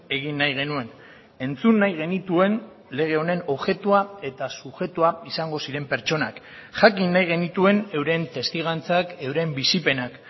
egin nahi genuen entzun nahi genituen lege honen objektua eta subjektua izango ziren pertsonak jakin nahi genituen euren testigantzak euren bizipenak